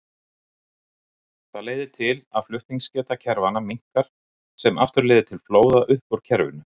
Það leiðir til að flutningsgeta kerfanna minnkar sem aftur leiðir til flóða upp úr kerfinu.